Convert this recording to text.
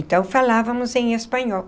Então, falávamos em espanhol.